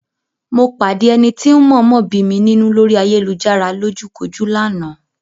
Mo pàdé ẹni tí ń mọ̀ọ́mọ̀ bí mi nínú lórí ayélujárá lójúkojú lánàá.